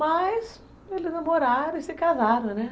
Mas eles namoraram e se casaram, né?